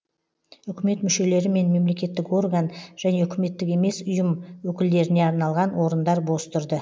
үкімет мүшелері мен мемлекеттік орган және үкіметтік емес ұйым өкілдеріне арналған орындар бос тұрды